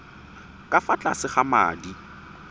ka fa tlase ga madi